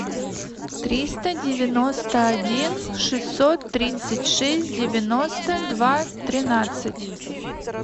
триста девяносто один шестьсот тридцать шесть девяносто два тринадцать